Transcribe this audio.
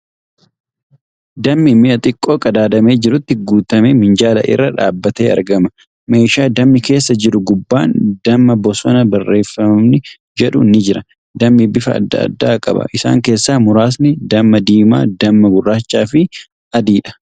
Dammi mi'a xiqqoo qadaadamee jirutti guutamee minjaala irra dhaabbatee argama. Meeshaa dammi keessa jiru gubbaan ' Dammaa Bosonaa ' barrreeffamni jedhu ni jira . Dammi bifa adda addaa qaba . Isaan keessaa muraasni damma diimaa, damma gurraacha fi adiidha.